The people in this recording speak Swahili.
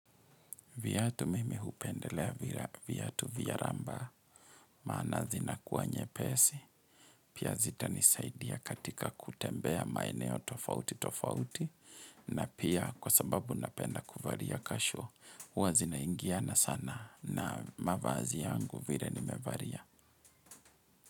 Viatu mimi hupendelea viatu vya ramba maana zinakuwa nyepesi Pia zita ni saidi ya katika kutembea maeneo tofauti tofauti na pia kusababu na penda kuvaria casual Uwa zina ingia na sana na mavazi yangu vire ni mevaria.